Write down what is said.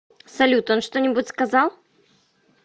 салют он что нибудь сказал